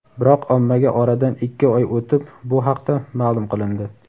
biroq ommaga oradan ikki oy o‘tib bu haqda ma’lum qilindi.